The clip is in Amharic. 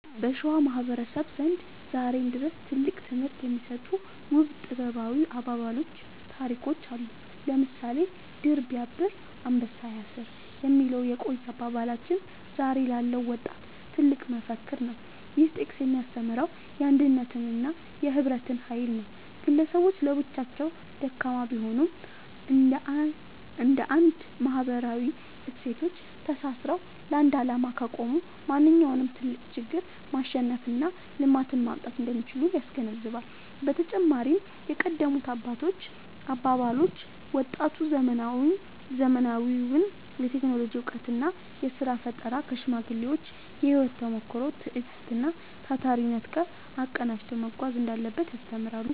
በሸዋ ማህበረሰብ ዘንድ ዛሬም ድረስ ትልቅ ትምህርት የሚሰጡ ውብ ጥበባዊ አባባሎችና ታሪኮች አሉ። ለምሳሌ «ድር ቢያብር አንበሳ ያስር» የሚለው የቆየ አባባላችን ዛሬ ላለው ወጣት ትልቅ መፈክር ነው። ይህ ጥቅስ የሚያስተምረው የአንድነትንና የህብረትን ኃይል ነው። ግለሰቦች ለብቻቸው ደካማ ቢሆኑም፣ እንደ አንድ ማህበራዊ እሴቶች ተሳስረው ለአንድ ዓላማ ከቆሙ ማንኛውንም ትልቅ ችግር ማሸነፍና ልማትን ማምጣት እንደሚችሉ ያስገነዝባል። በተጨማሪም የቀደሙት አባቶች አባባሎች፣ ወጣቱ ዘመናዊውን የቴክኖሎጂ እውቀትና የሥራ ፈጠራ ከሽማግሌዎች የህይወት ተሞክሮ፣ ትዕግስትና ታታሪነት ጋር አቀናጅቶ መጓዝ እንዳለበት ያስተምራሉ።